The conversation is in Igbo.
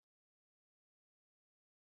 Nna m bụ dọkịta na-awa ahụ